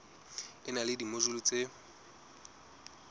e na le dimojule tse